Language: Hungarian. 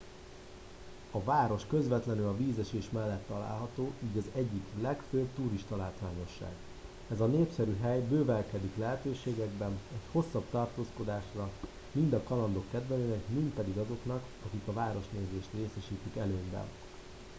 a város közvetlenül a vízesés mellett található így az egyik legfőbb turistalátványosság ez a népszerű hely bővelkedik lehetőségekben egy hosszabb tartózkodásra mind a kalandok kedvelőinek mind pedig azoknak akik a városnézést részesítik előnyben